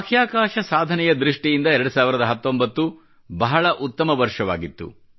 ಬಾಹ್ಯಾಕಾಶ ಸಾಧನೆಯ ದೃಷ್ಟಿಯಿಂದ 2019 ನೇ ವರ್ಷ ಬಹಳ ಉತ್ತಮವಾಗಿತ್ತು